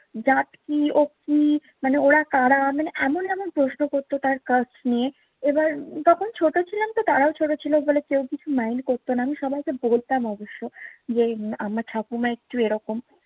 জাত কি, ও কি? মানে ওরা কারা? মানে এমন এমন প্রশ্ন করতো তার কাস্ট নিয়ে। এবার যখন ছোট ছিলামতো তারাও ছোট ছিল বলে কেউ কিছু mind করত না। আমি সবাইকে বলতামও অবশ্য যে, আমার ঠাকুমা একটু এরকম।